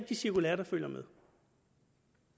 de cirkulærer der følger med